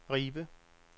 Ribe